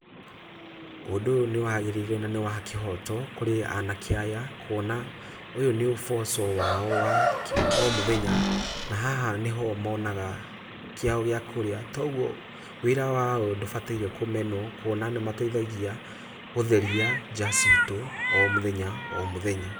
Ũndũ ũyũ nĩ wagĩrĩire na nĩ wa kĩhoto kũrĩ anake aya, kwona ũyũ nĩ ũboco wao wa o mũthenya, na haha nĩho monaga kĩao gĩa kũrĩa, toguo wĩra wao ndũbatairwo kũmenwo kuona nĩ mateithagia gũtheria ja citũ o mũthenya o mũthenya.